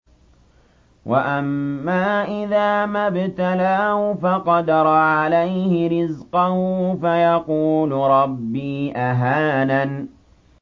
وَأَمَّا إِذَا مَا ابْتَلَاهُ فَقَدَرَ عَلَيْهِ رِزْقَهُ فَيَقُولُ رَبِّي أَهَانَنِ